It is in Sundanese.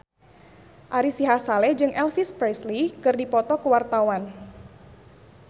Ari Sihasale jeung Elvis Presley keur dipoto ku wartawan